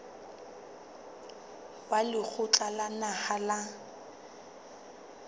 wa lekgotla la naha la